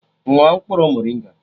Ṅụọ mkpụrụ morịnga!